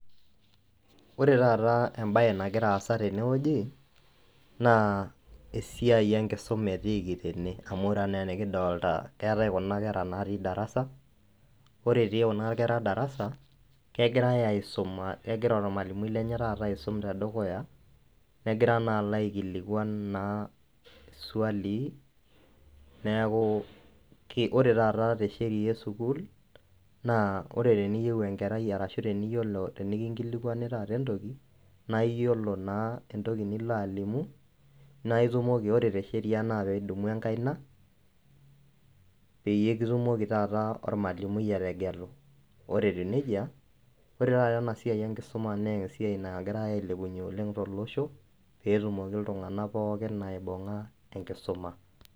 Ore embae nagira aasa tene wueji naa esiai enkisuma etiiki tene. Ore anaa enikidolita keetae kuna kera natii darasa, ore etii darasa egira ormalimui lenye aasum negira alo aikilikuan naa swalii neaku ore taata te sheriaa e sukuul tenikinkilikwani taata entoki naa iyolo naa entoki nilo alimu naa ilepie enkaina petite kitumoki ormalimui ategelu. Ore etiu nejia, ore taata ena siai enkisuma naa entoki taata nagirae ailepunye oleng tolosho pee etum iltunganak pookin aibunga naa enkisuma.